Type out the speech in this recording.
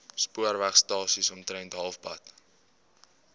spoorwegstasie omtrent halfpad